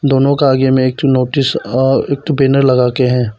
दोनों के आगे में एक ठो नोटिस आ एक ठो बैनर लगाके है।